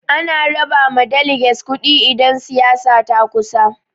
Ana raba ma daleges kuɗi idan siyasa ta kusa.